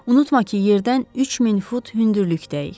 Unutma ki, yerdən 3000 fut hündürlükdəyik.